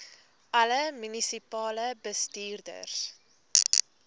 alle munisipale bestuurders